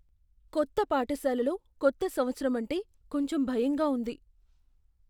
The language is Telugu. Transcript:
కొత్త పాఠశాలలో కొత్త సంవత్సరం అంటే కొంచెం భయంగా ఉంది.